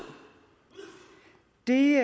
det